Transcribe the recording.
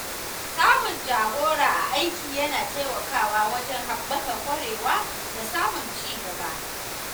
Samun jagora a aiki yana taimakawa wajen haɓaka ƙwarewa da samun ci gaba.